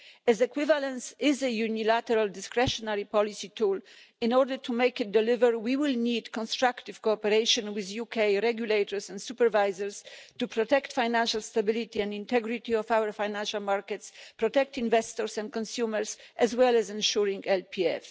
As equivalence is a unilateral discretionary policy tool, in order to make it deliver, we will need constructive cooperation with UK regulators and supervisors to protect the financial stability and integrity of our financial markets, protect investors and consumers, as well as ensuring LPF.